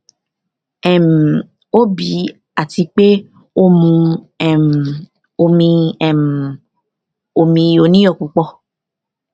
um ó bì í àti pé ó mu um omi um omi oníyọ púpọ